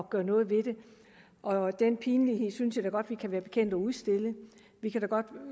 gøre noget ved det og den pinlighed synes jeg da godt at vi kan være bekendt at udstille vi kan godt